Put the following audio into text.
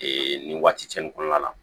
nin waati nin kɔnɔna la